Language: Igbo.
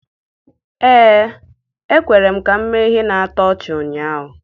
Ee, e kwere ka m mee ihe na-atụ ọchị ụnyaahụ.